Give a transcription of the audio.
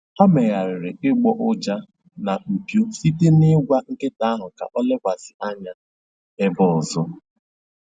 Ha megharịrị ịgbọ ụja na mpio site na ịgwa nkịta ahụ ka ọ lekwasị anya ebe ọzọ